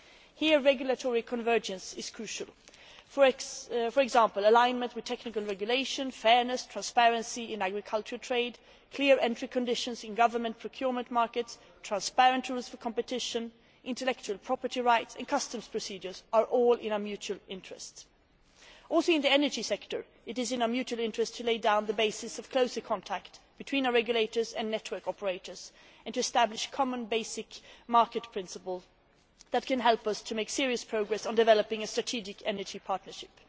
Here regulatory convergence is crucial for example, alignment with technical regulation, fairness, transparency in agricultural trade, clear entry conditions in government procurement markets, transparent rules of competition, intellectual property rights and customs procedures are all in our mutual interests. In the energy sector it is in our mutual interests to lay down the basis of closer contact between our regulators and network operators and to establish common basic market principles which can help us to make serious progress on developing a strategic energy partnership.